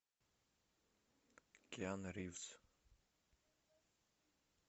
киану ривз